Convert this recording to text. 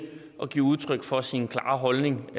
at give udtryk for sin klare holdning